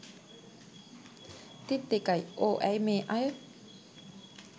තිත් දෙකයි ඕ ඇයි මේ අය